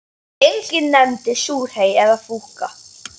Enginn nefndi súrhey eða fúkka.